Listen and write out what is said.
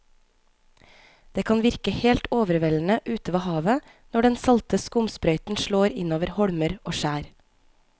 Det kan virke helt overveldende ute ved havet når den salte skumsprøyten slår innover holmer og skjær.